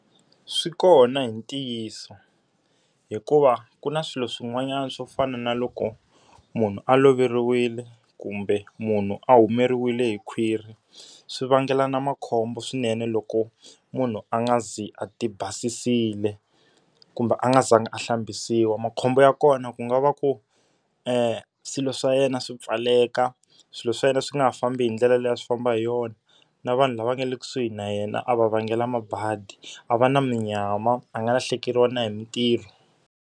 Swi kona hi ntiyiso. Hikuva ku na swilo swin'wanyana swo fana na loko munhu a loveriwile, kumbe munhu a humeriwile hi khwiri swi vangela na makhombo swinene loko munhu a nga zi a ti basisiwile kumbe a nga zanga a hlambisiwa. Makhombo ya kona ku nga va ku swilo swa yena swi pfaleka, swilo swa yena swi nga ha fambi hi ndlela leyi a swi famba hi yona, na vanhu lava nga le kusuhi na yena a va vangela mabadi. A va na munyama, a nga lahlekeriwa na hi mintirho.